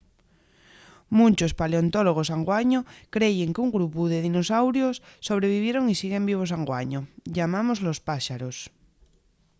munchos paleontólogos anguaño creyen qu’un grupu de dinosaurios sobrevivieron y siguen vivos anguaño. llamámoslos páxaros